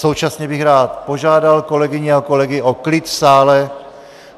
Současně bych rád požádal kolegyně a kolegy o klid v sále.